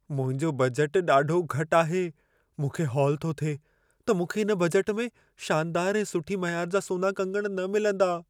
मुंहिंजो बजट ॾाढो घटु आहे। मूंखे हौल थो थिए त मूंखे इन बजट में शानदार ऐं सुठी मयार जा सोना कंगण न मिलंदा।